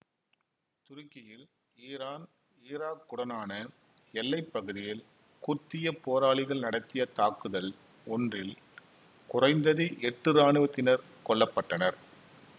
துருக்கியில் ஈரான் ஈராக்குடனான எல்லை பகுதியில் குர்திய போராளிகள் நடத்திய தாக்குதல் ஒன்றில் குறைந்தது எட்டு இராணுவத்தினர் கொல்ல பட்டனர்